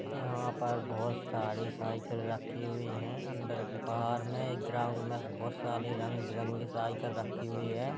यहां पर बोहोत सारी साइकल रखी हुई हैं। अंदर बाहर में एक ग्राउन्ड में बोहोत सारी रंग-बिरंगी साइकल रखी हुई है।